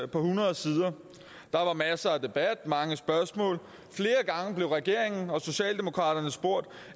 på hundrede sider der var masser af debat mange spørgsmål og blev regeringen og socialdemokraterne spurgt